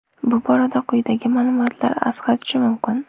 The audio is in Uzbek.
Bu borada quyidagi ma’lumotlar asqatishi mumkin.